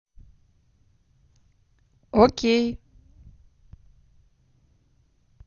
о кей